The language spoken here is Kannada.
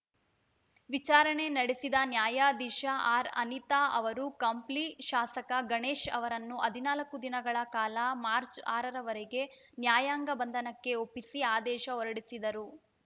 ವಿಚಾರಣೆ ನಡೆಸಿದ ನ್ಯಾಯಾಧೀಶೆ ಆರ್‌ಅನಿತಾ ಅವರು ಕಂಪ್ಲಿ ಶಾಸಕ ಗಣೇಶ್‌ ಅವರನ್ನು ಹದಿನಾಲ್ಕು ದಿನಗಳ ಕಾಲ ಮಾರ್ಚ್ ಆರರವರೆಗೆ ನ್ಯಾಯಾಂಗ ಬಂಧನಕ್ಕೆ ಒಪ್ಪಿಸಿ ಆದೇಶ ಹೊರಡಿಸಿದರು